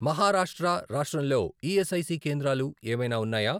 మహారాష్ట్రరాష్ట్రంలో ESIC కేంద్రాలు ఏమైనా ఉన్నాయా?